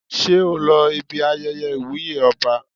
Ṣé o lọ ibi ayẹyẹ ìwúyè ọba?